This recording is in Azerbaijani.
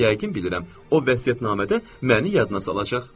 Amma yəqin bilirəm, o vəsiyyətnamədə məni yadına salacaq.